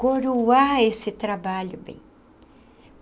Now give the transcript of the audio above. Coroar esse trabalho, bem.